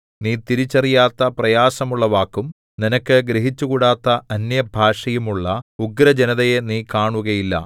നീ തിരിച്ചറിയാത്ത പ്രയാസമുള്ള വാക്കും നിനക്ക് ഗ്രഹിച്ചുകൂടാത്ത അന്യഭാഷയും ഉള്ള ഉഗ്രജനതയെ നീ കാണുകയില്ല